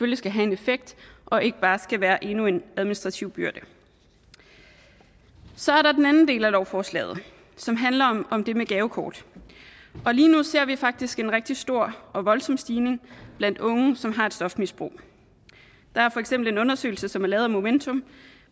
det skal have en effekt og ikke bare være endnu en administrativ byrde så er der den anden del af lovforslaget som handler om det med gavekort lige nu ser vi faktisk en rigtig stor og voldsom stigning blandt unge som har et stofmisbrug der er for eksempel en undersøgelse som er lavet af momentum